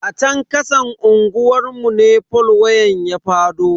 A chan kasan unguwar mu ne fol wayan ya fado.